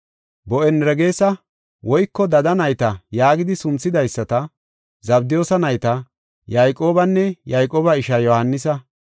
Bo7anerges (Dada Nayta) yaagidi sunthidaysata, Zabdiyoosa nayta Yayqoobanne Yayqooba ishaa Yohaanisa,